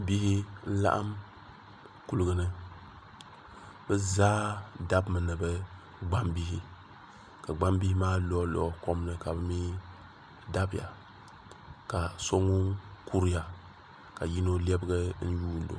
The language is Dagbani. Bihi n laɣim kuliga ni bi zaa dabimi ni bi gbaŋ bihi ka gbaŋ bihi maa lɔhi lɔhi kom ni kabi mi dabiya ka so ŋuni kuriya ka yino lɛbigi nyuuni o.